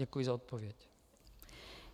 Děkuji za odpověď.